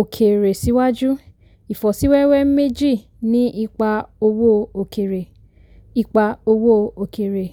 òkèèrè síwájú; ìfọ́síwẹ́wẹ́ méjì ní ipa owó òkèèrè. ipa owó òkèèrè.